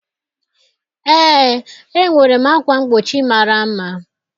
Ee, enwere m ákwà mgbochi mara mma